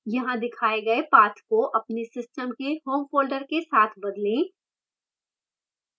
यहाँ दिखाए गए path को अपने system के home folder के साथ बदलें